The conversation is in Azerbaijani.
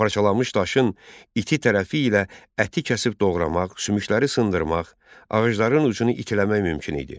Parçalanmış daşın iti tərəfi ilə əti kəsib doğramaq, sümükləri sındırmaq, ağacların ucunu itiləmək mümkün idi.